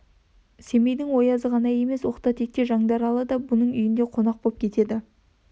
семейдің оязы ғана емес оқта-текте жаңдаралы да бұның үйінде қонақ боп кетеді